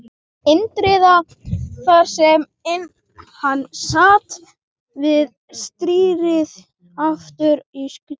Indriða, þar sem hann sat við stýrið aftur í skutnum.